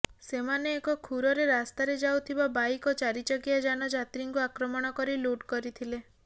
ସେମାନେ ଏକ ଖୁରରେ ରାସ୍ତାରେ ଯାଉଥିବା ବାଇକ୍ ଓ ଚାରିଚକିଆ ଯାନ ଯାତ୍ରୀଙ୍କୁ ଆକ୍ରମଣ କରି ଲୁଟ୍ କରିଥିଲେ